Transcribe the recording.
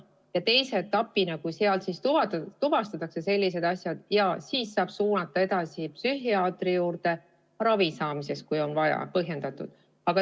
Ja teise etapina, kui on sellised asjad tuvastatud, saab lapse suunata edasi psühhiaatri juurde ravile – kui see on vajalik ja põhjendatud.